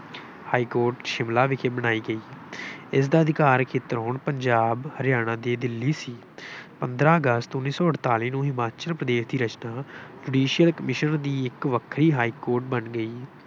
High court Shimla ਵਿਖੇ ਬਣਾਈ ਗਈ। ਇਸਦਾ ਅਧਿਕਾਰ ਖੇਤਰ ਹੁਣ ਪੰਜਾਬ ਹਰਿਆਣਾ ਅਤੇ ਦਿੱਲੀ ਸੀ। ਪੰਦਰਾਂ ਅਗਸਤ ਉੱਨੀ ਸੌ ਅਠਤਾਲੀ ਨੂੰ ਹਿਮਾਚਲ ਪ੍ਰਦੇਸ਼ ਦੀ ਰਚਨਾ judicial commission ਦੀ ਇੱਕ ਵੱਖਰੀ ਹਾਈਕੋਰਟ ਬਣ ਗਈ।